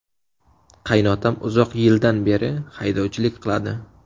Qaynotam uzoq yildan beri haydovchilik qiladi.